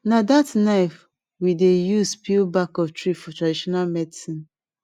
na that knife we dey use peel back of tree for traditional medicine